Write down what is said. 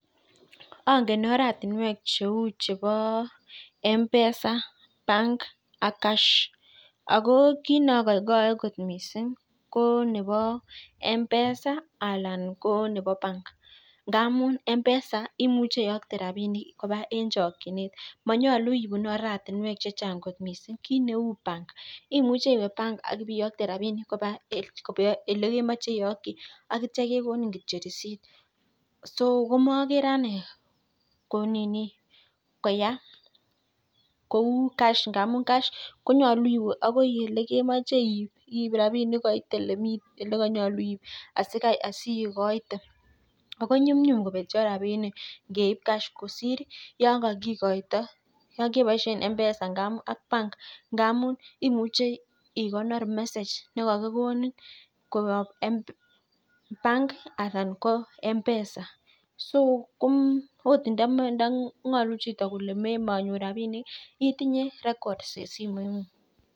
Ang'et oratinwek cheu chebo mpesa bank ak cash. Ako kiit neagoigoi kot mising ko mpesa alan ko nebo bank amun mpesa imuche iyokte rapinik koba eng chokchinet manyolu ipun oratinwek chechang kot mising. Kiit neu bank imiuche iwe bank ak iyokte rapinik kaba ole kemache iyokte akitio kekonin kitio receipt. So komagere ane koya kou cash ngamun cash konyolu iwe akoi ole kemache iip koitolekanyolu iip asiigoite. Ako nyumnyum kopetio rapinik ngeip cash kosir yon keboishe mpesa anan bank amun imuche ikonor mesage ne kakikonin koyop bank anan mpesa so agot ndang'olu chito kole manyor rapinik itinye records eng simoitng'ung.